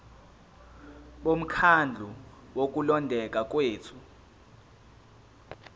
bomkhandlu wokulondeka kwethu